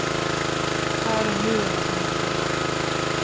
Här och nu är vad som gäller.